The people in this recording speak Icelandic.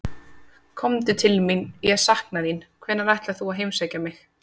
Komdu til mín, ég sakna þín, hvenær ætlar þú að heimsækja mig?